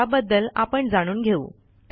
त्याबद्दल आपण जाणून घेऊ